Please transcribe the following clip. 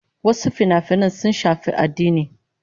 Wasu finafinan sun shafi addini